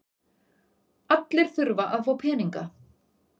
Allir þurfa að fá peninga.